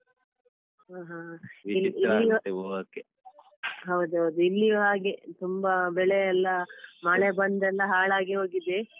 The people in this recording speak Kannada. ಹ ಹ ಹೌದೌದು ಇಲ್ಲಿಯೂ ಹಾಗೆ ತುಂಬ ಬೆಳೆಯೆಲ್ಲ ಮಳೆ ಬಂದೆಲ್ಲ ಹಾಳಾಗಿ ಹೋಗಿದೆ.